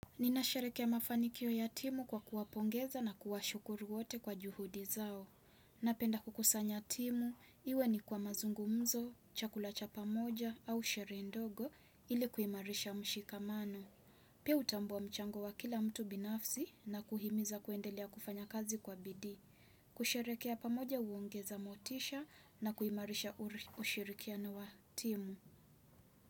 Ninasherekea mafanikio ya timu kwa kuwapongeza na kuwashukuru wote kwa juhudi zao. Napenda kukusanya timu, iwe ni kwa mazungumzo, chakula cha pamoja au sherehe ndogo ili kuimarisha mshikamano. Pia utambua mchango wa kila mtu binafsi na kuhimiza kuendelea kufanya kazi kwa bidii. Kusherekea pamoja uongeza motisha na kuimarisha ushirikiano wa timu.